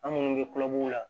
An minnu bɛ kulobula